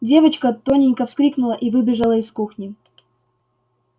девочка тоненько вскрикнула и выбежала из кухни